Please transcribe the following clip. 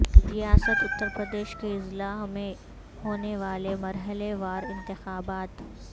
ریاست اتر پردیش کے اضلاع میں ہونیوالے مرحلہ وار انتخابات